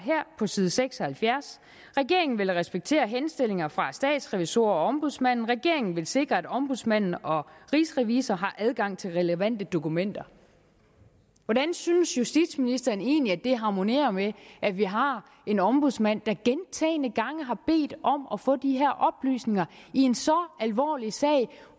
på side 76 regeringen vil respektere henstillinger fra statsrevisorerne og ombudsmanden regeringen vil sikre at ombudsmanden og rigsrevisor har adgang til relevante dokumenter hvordan synes justitsministeren det egentlig harmonerer med at vi har en ombudsmand der gentagne gange har bedt om at få de her oplysninger i en så alvorlig sag